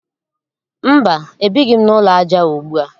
Mba, ebighị m n'ụlọ aja ugbua